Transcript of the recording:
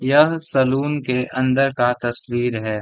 यह सैलून के अंदर का तस्वीर है।